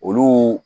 Olu